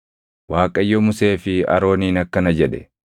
Waaqayyo Musee fi Arooniin akkana jedhe: